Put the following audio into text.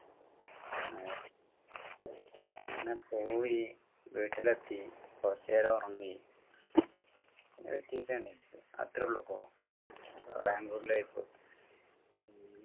പിന്നെ പോയി വീട്ടിലെത്തി കുറച്ചുനേരം ഉറങ്ങി അത്രയേ ഉള്ളൂ ഇപ്പോ ബാംഗ്ലൂർ life